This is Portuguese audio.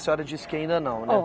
A senhora disse que ainda não, né? Ó